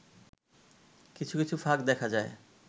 কিছু কিছু ফাঁক দেখা যায়